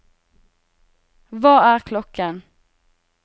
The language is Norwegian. hva er klokken